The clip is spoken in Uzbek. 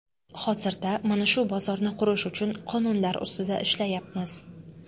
Hozirda mana shu bozorni qurish uchun qonunlar ustida ishlayapmiz.